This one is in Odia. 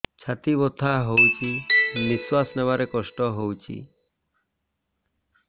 ଛାତି ବଥା ହଉଚି ନିଶ୍ୱାସ ନେବାରେ କଷ୍ଟ ହଉଚି